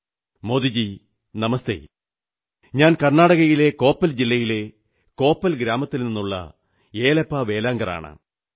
മോദീജീ നമസ്തേ ഞാൻ കർണ്ണാടകയിലെ കോപ്പൽ ജില്ലയിലെ കോപ്പൽ ഗ്രാമത്തിൽ നിന്നേ യേലപ്പാ വേലാങ്കറാണു സംസാരിക്കുന്നത്